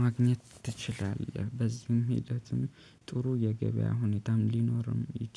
ማግኘት ትችላለህ። በዚህም ሂደትም ጥሩ የገበያ ሁኔታም ሊኖርም ይችላል